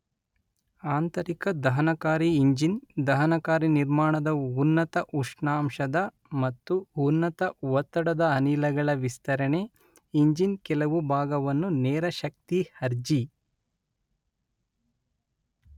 ಆಂತರಿಕ ದಹನಕಾರಿ ಇಂಜಿನ್ ದಹನಕಾರಿ ನಿರ್ಮಾಣದ ಉನ್ನತ ಉಷ್ಣಾಂಶದ ಮತ್ತು ಉನ್ನತ ಒತ್ತಡದ ಅನಿಲಗಳ ವಿಸ್ತರಣೆ ಇಂಜಿನ್ ಕೆಲವು ಭಾಗವನ್ನು ನೇರ ಶಕ್ತಿ ಅರ್ಜಿ